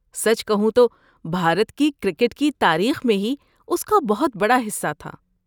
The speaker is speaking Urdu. سچ کہوں تو، بھارت کی کرکٹ کی تاریخ میں ہی اس کا بہت بڑا حصہ تھا۔